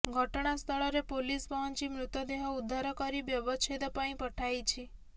ଘଟଣାସ୍ଥଳରେ ପୋଲିସ ପହଞ୍ଚି ମୃତଦେହ ଉଦ୍ଧାର କରି ବ୍ୟବଚ୍ଛେଦ ପାଇଁ ପଠାଇଛି